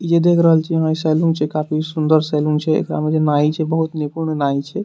ये देख रहल छिये आहां इ सैलून छिये काफी सुन्दर सैलून छै एकरा में जे नाई छै बहुत निपूर्ण नाई छै।